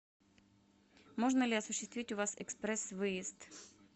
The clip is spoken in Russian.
можно ли осуществить у вас экспресс выезд